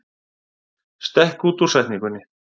Stekk út úr setningunni